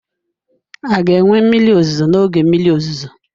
A ga-enwe mmiri ozuzo n'oge mmiri ozuzo?